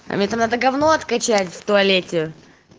а мне там надо гавно откачать в туалете